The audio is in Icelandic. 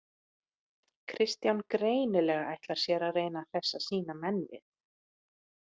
Kristján greinilega ætlar sér að reyna að hressa sína menn við.